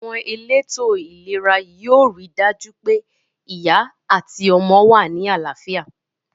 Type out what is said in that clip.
Àwon elétò ìlera yio ri dàjú pe ìyá àti ọmọ wa ni àláfíà